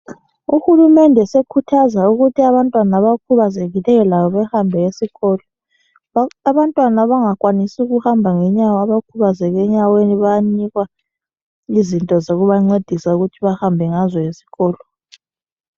Uhulumende usekhuthaza ukuthi abantwana abakhubazekileyo labo behambe esikolo. Abantwana abangakwanisi ukuhamba ngenyawo, abakhubazeke enyaweni, bayanikwa izinto zokubancedisa ukuthi bahambe ngazo esikolo.